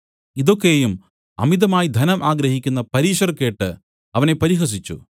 ഇതൊക്കെയും അമിതമായി ധനം ആഗ്രഹിക്കുന്ന പരീശർ കേട്ട് അവനെ പരിഹസിച്ചു